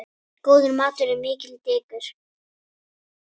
Góður matur er mikið dekur.